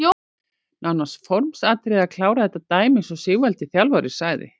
Nánast formsatriði að klára þetta dæmi eins og Sigvaldi þjálfari sagði.